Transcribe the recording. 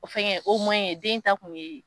O fɛngɛ den ta tun ye